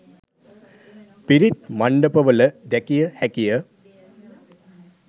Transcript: පිරිත් මණ්ඩප වල දැකිය හැකිය